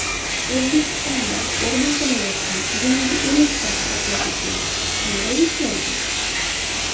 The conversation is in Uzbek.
O‘zbekistonda o‘rnatilayotgan yangi elektr hisoblagichlar qanday ishlaydi?